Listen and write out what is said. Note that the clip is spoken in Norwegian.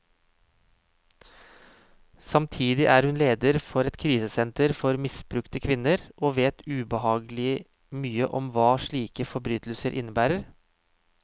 Samtidig er hun leder for et krisesenter for misbrukte kvinner, og vet ubehagelig mye om hva slike forbrytelser innebærer.